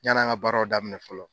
Yani an ka baaraw daminɛ fɔlɔ.